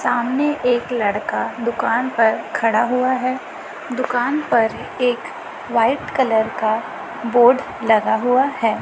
सामने एक लड़का दुकान पर खड़ा हुआ है दुकान पर एक व्हाइट कलर का बोर्ड लगा हुआ है।